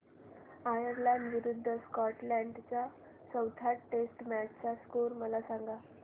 Ireland विरूद्ध Scotland च्या चौथ्या टेस्ट मॅच चा स्कोर मला सांगना